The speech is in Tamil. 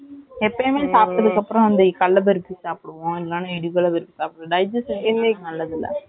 எப்போமே சாப்டதுக்கு அப்புறம் அந்த கடலை பருப்பு சாப்பிடுவோம் இல்லன்னா இடி பர்பி சாப்பிடுவோம் digestion க்கு நல்லது இல்ல